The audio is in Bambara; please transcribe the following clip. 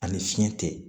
Ani fiɲɛ tɛ